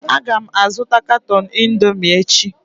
Aga m azụta katọn Indomi echi